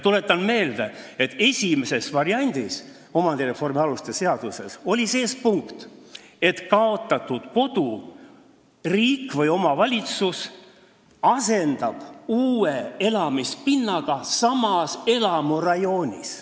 Tuletan meelde, et esimeses omandireformi aluste seaduse variandis oli punkt, et riik või omavalitsus asendab kaotatud kodu uue elamispinnaga samas elamurajoonis.